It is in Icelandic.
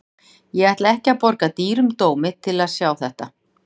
Ég ætla ekki að borga dýrum dómi til að sjá þetta.